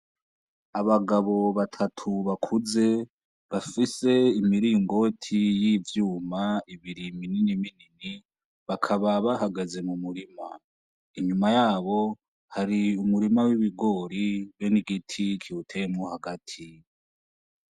Abagabo batatu bakuze, bafise imiringoti y'ivyuma, ibiri minini minini. Bakaba bahagaze mu murima. Inyuma yabo hari umurima w'ibigori, hamwe n'igiti kibiteyemwo hagati